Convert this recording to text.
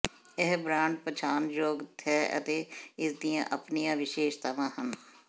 ਇਹ ਬ੍ਰਾਂਡ ਪਛਾਣਨਯੋਗ ਹੈ ਅਤੇ ਇਸ ਦੀਆਂ ਆਪਣੀਆਂ ਵਿਸ਼ੇਸ਼ਤਾਵਾਂ ਹਨ